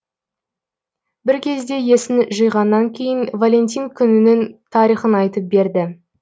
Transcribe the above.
бір кезде есін жиғаннан кейін валентин күнінің тарихын айтып берді